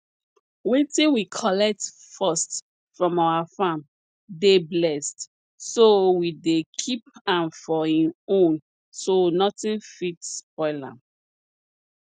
wetin we collect first from our farm dey blessed so we dey keep am for en own so nothing fit spoil am